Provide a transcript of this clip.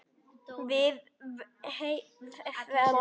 Við hvern?